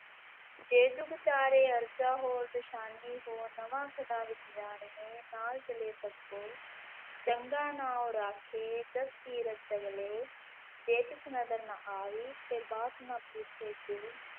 ਜੇ ਜੁਗ ਚਾਰੇ ਆਰਜਾ ਹੋਰ ਨਵਾ ਖੰਡਾ ਵਿਚ ਜਾਣੀਐ ਨਾਲ ਚਲੈ ਸਭੁ ਕੋਇ, ਚੰਗਾ ਨਾਉ ਰਾਖੈ ਜਸੁ ਕੀਰਤਿ ਜਗਿ ਲੇਇ, ਜੇ ਤਿਸੁ ਨਦਰਿ ਨਾ ਆਵਈ ਤੇ ਵਾਤ ਨਾ ਪੁਛੈ ਕੇ,